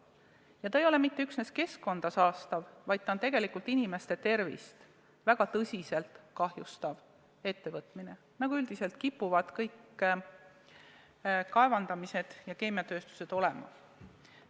Ja see ei ole mitte üksnes keskkonda saastav, vaid see on tegelikult ka inimeste tervist väga tõsiselt kahjustav tegevus, nagu üldiselt kipuvad kõik kaevandamised ja keemiatööstused olema.